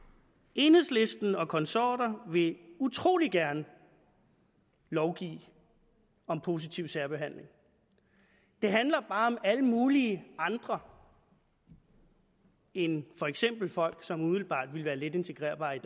enhedslisten og konsorter vil utrolig gerne lovgive om positiv særbehandling det handler bare om alle mulige andre end for eksempel folk som umiddelbart ville være letintegrerbare i